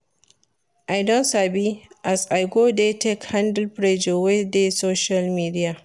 I don sabi as I go dey take handle pressure wey dey social media.